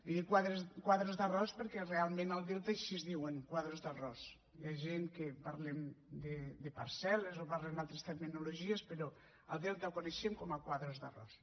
i dic quadres d’arròs perquè realment al delta així es diuen quadres d’arròs hi ha gent que parlem de parcel·les o parlen d’altres terminologies però al delta ho coneixem com a quadres d’arròs